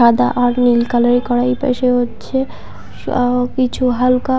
সাদা আর নীল কালারে করা এই পাশে হচ্ছে স-আব কিছু হালকা।